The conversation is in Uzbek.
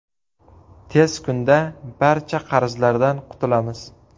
Tez kunda barcha qarzlardan qutulamiz.